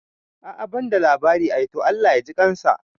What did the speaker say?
A'a banda labari ai, to Allah ya jikansa